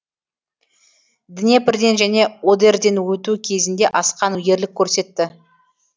днепрден және одерден өту кезінде асқан ерлік көрсетті